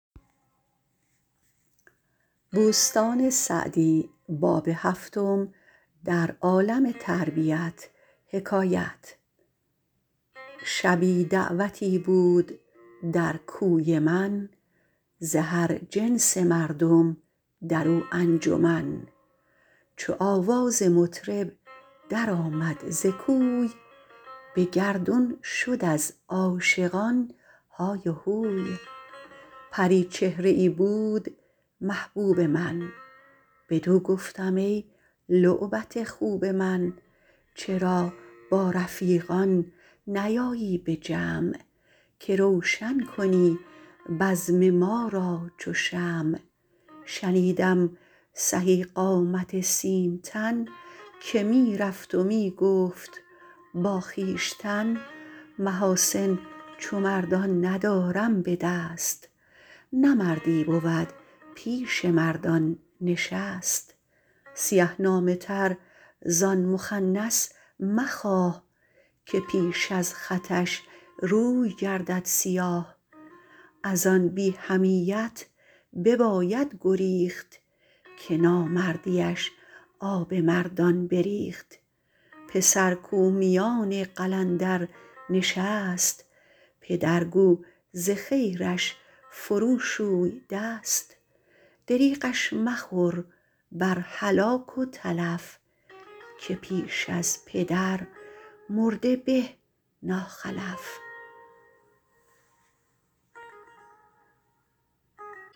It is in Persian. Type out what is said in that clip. شبی دعوتی بود در کوی من ز هر جنس مردم در او انجمن چو آواز مطرب در آمد ز کوی به گردون شد از عاشقان های و هوی پریچهره ای بود محبوب من بدو گفتم ای لعبت خوب من چرا با رفیقان نیایی به جمع که روشن کنی بزم ما را چو شمع شنیدم سهی قامت سیم تن که می رفت و می گفت با خویشتن محاسن چو مردان ندارم به دست نه مردی بود پیش مردان نشست سیه نامه تر زآن مخنث مخواه که پیش از خطش روی گردد سیاه از آن بی حمیت بباید گریخت که نامردیش آب مردان بریخت پسر کاو میان قلندر نشست پدر گو ز خیرش فرو شوی دست دریغش مخور بر هلاک و تلف که پیش از پدر مرده به ناخلف